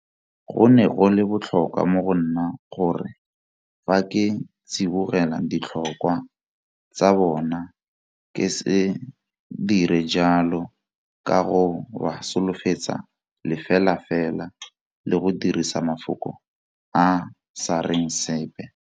Go ne go le botlhokwa mo go nna gore fa ke tsibogela ditlhokwa tsa bona ke se dire jalo ka go ba solofetsa lefelafela le go dirisa mafoko a a sa reng sepe.